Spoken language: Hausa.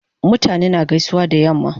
Mutane na gaisuwa da yamma